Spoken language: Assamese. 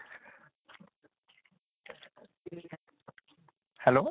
hello